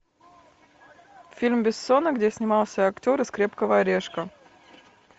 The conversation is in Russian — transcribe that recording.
фильм бессона где снимался актер из крепкого орешка